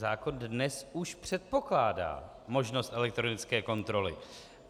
Zákon dnes už předpokládá možnost elektronické kontroly.